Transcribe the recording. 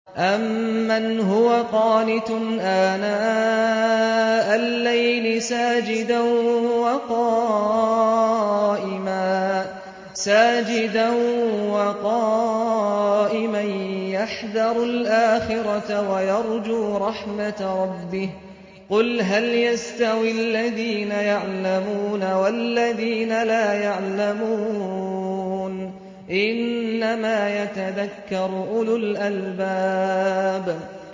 أَمَّنْ هُوَ قَانِتٌ آنَاءَ اللَّيْلِ سَاجِدًا وَقَائِمًا يَحْذَرُ الْآخِرَةَ وَيَرْجُو رَحْمَةَ رَبِّهِ ۗ قُلْ هَلْ يَسْتَوِي الَّذِينَ يَعْلَمُونَ وَالَّذِينَ لَا يَعْلَمُونَ ۗ إِنَّمَا يَتَذَكَّرُ أُولُو الْأَلْبَابِ